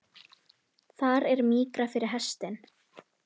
Þar er mýkra fyrir hestinn.